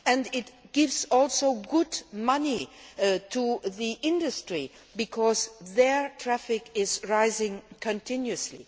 It also gives good money to the industry because their traffic is rising continuously.